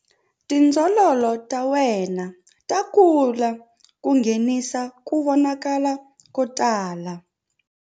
Tindzololo ta wena ta kula ku nghenisa ku vonakala ko tala.